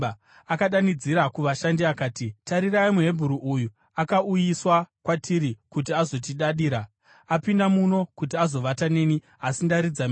akadanidzira kuvashandi, akati, “Tarirai, muHebheru uyu akauyiswa kwatiri kuti azotidadira! Apinda muno kuti azovata neni, asi ndaridza mhere.